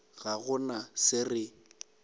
ga go na se re